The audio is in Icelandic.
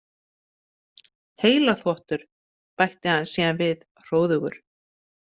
Heilaþvottur, bætti hann síðan við hróðugur.